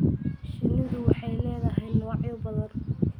Shinnidu waxay leedahay noocyo badan.